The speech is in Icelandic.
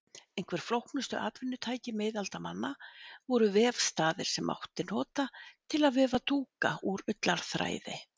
Einhver flóknustu atvinnutæki miðaldamanna voru vefstaðir sem mátti nota til að vefa dúka úr ullarþræði.